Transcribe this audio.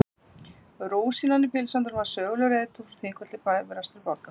Rúsínan í pylsuendanum var sögulegur reiðtúr frá Þingvöllum til Bifrastar í Borgarfirði.